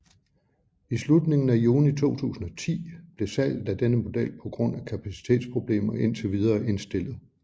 I slutningen af juni 2010 blev salget af denne model på grund af kapacitetsproblemer indtil videre indstillet